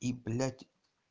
и блять